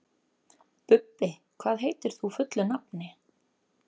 Bubbi, hvað heitir þú fullu nafni?